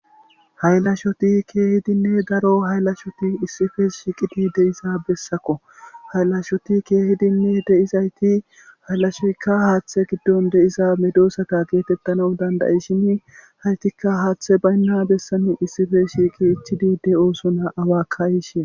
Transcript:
haylashoti keehidinne daro haylashoti issipe shiiqidi de7iza bessakko haylashoti keehidinne de7izayti hayllashoykka haaththe giddon de7iza medoosata geetettanaw danda7ishini haytikka haaththe baynna bessani issife shiiqi ichidi de7osona awakka yishe